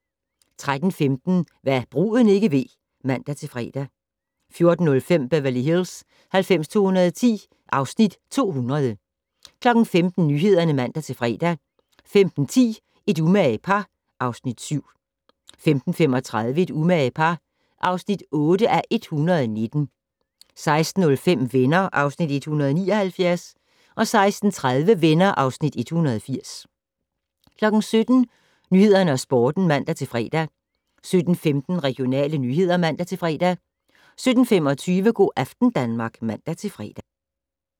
13:15: Hva' bruden ikke ved (man-fre) 14:05: Beverly Hills 90210 (Afs. 200) 15:00: Nyhederne (man-fre) 15:10: Et umage par (Afs. 7) 15:35: Et umage par (8:119) 16:05: Venner (Afs. 179) 16:30: Venner (Afs. 180) 17:00: Nyhederne og Sporten (man-fre) 17:15: Regionale nyheder (man-fre) 17:25: Go' aften Danmark (man-fre)